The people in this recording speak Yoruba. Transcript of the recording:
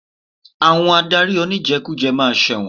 Àwọn adarí oníjẹkújẹ ma ṣẹ̀wọ̀n.